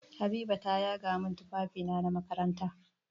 Habiba ta yaga min tufafina na makaranta.